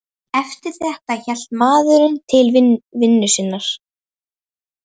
Eftir þetta hélt maðurinn til vinnu sinnar.